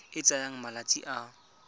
e e tsayang malatsi a